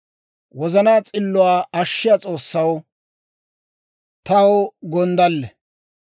Wozanaa s'illuwaa ashshiyaa S'oossay taw gonddalle.